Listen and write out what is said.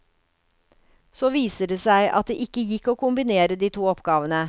Så viser det seg at det ikke gikk å kombinere de to oppgavene.